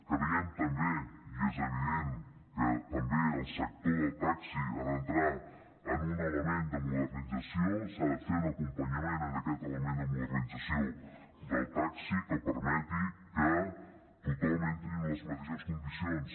creiem també i és evident que també el sector del taxi ha d’entrar en un element de modernització s’ha de fer un acompanyament en aquest element de modernització del taxi que permeti que tothom entri en les mateixes condicions